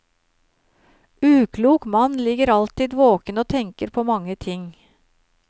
Uklok mann ligger alltid våken og tenker på mange ting.